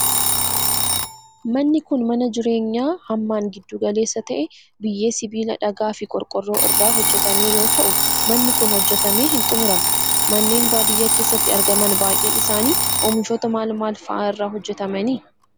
Manni kun, mana jireenyaa hammaan giddu galeessa ta'e, biyyee, sibiila, dhagaa fi qorqoorroo irraa hojjatame yoo ta'u, manni kun hojjatamee hin xumuramne. Manneen baadiyaa keessatti argaman baay'een isaanii oomishoota maal maal faa irraa hojjataman.